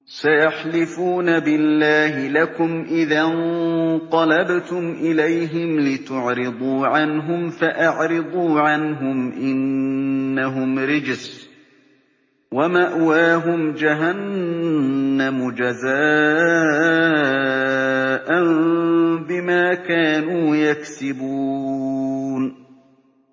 سَيَحْلِفُونَ بِاللَّهِ لَكُمْ إِذَا انقَلَبْتُمْ إِلَيْهِمْ لِتُعْرِضُوا عَنْهُمْ ۖ فَأَعْرِضُوا عَنْهُمْ ۖ إِنَّهُمْ رِجْسٌ ۖ وَمَأْوَاهُمْ جَهَنَّمُ جَزَاءً بِمَا كَانُوا يَكْسِبُونَ